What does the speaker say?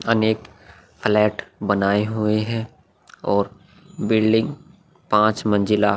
अनेक फ्लैट बनाये हुए है और बिल्डिंग पांच मंजिला --